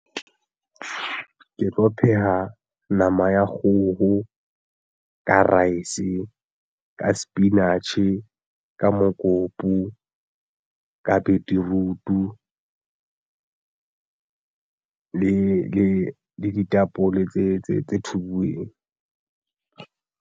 Ke tlo pheha nama ya kgoho ka rice ka sepinatjhe ka mokopu ka beetroot-u le ditapole tse thubiweng.